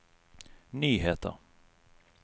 nyheter